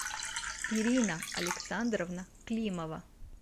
ирина александровна климова